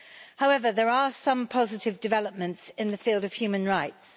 However, there are some positive developments in the field of human rights.